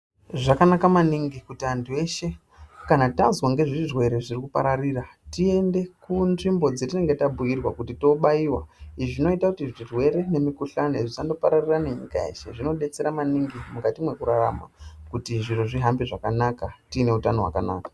Zvakanaka maningi kuti antu kama tazwa nguzvirwere zviri kupararira tiende kunzvimbo dzetinenge tabhuyirwa kuti tobayiwa. Izvi zvinoita kuti zvirwere nemikhuhlane zvisangopararira nenyika yeshe. Zvinodetsera maningi mukati mwekurarama kuti zvihambe zvakanaka tine utano hwakanaka.